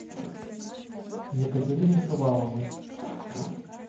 екатерине шуваловой